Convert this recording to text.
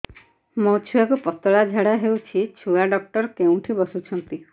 ମୋ ଛୁଆକୁ ପତଳା ଝାଡ଼ା ହେଉଛି ଛୁଆ ଡକ୍ଟର କେଉଁଠି ବସୁଛନ୍ତି